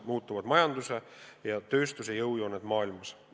Muutuvad majanduse ja tööstuse jõujooned maailmas.